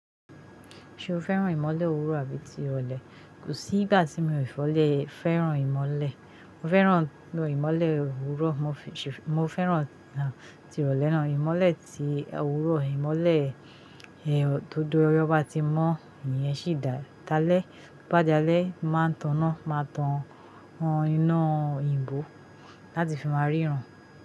Ṣé o fẹ́ràn ìmọ̀le ọ̀wúrọ̀ àbí ti irọ̀lẹ́? Kò sí ìgbà tí mi ò fẹ́ràn ìmọ̀le. Mo fẹ́ràn ìmọ̀le ọ̀wúrọ̀, mo fẹ́ràn ti irọ̀lẹ́ náà. Ìmọ̀le ti ọ̀wúrọ̀, ìmọ̀le tó júmọ́rẹ́ ọba tí mọ́, ìyẹn sì dáa. Lẹ́ bàá dalẹ́ mo máa ń taná, máa tan iná òyìnbó láti fi máa ríran.